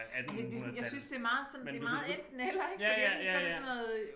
Ej det det sådan jeg synes det meget sådan det meget enten eller ik fordi enten så det sådan noget øh